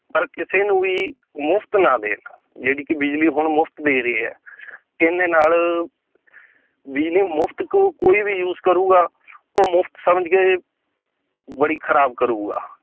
ਪਰ ਕਿਸੇ ਨੂੰ ਵੀ ਮੁਫ਼ਤ ਨਾ ਦੇਣ ਜਿਹੜੀ ਕਿ ਬਿਜ਼ਲੀ ਹੁਣ ਮੁਫ਼ਤ ਦੇ ਰਹੀ ਹੈ ਇਹਦੇ ਨਾਲ ਬਿਜ਼ਲੀ ਮੁਫ਼ਤ ਕੋ ਕੋਈ ਵੀ use ਕਰੂਗਾ ਉਹ ਮੁਫ਼ਤ ਸਮਝਕੇ ਬੜੀ ਖਰਾਬ ਕਰੂਗਾ